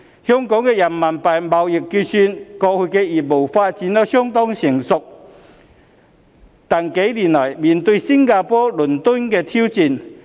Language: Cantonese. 香港的人民幣貿易結算業務過去發展相當成熟，但近幾年來也面對新加坡、倫敦的挑戰。